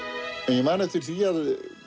ég man eftir því að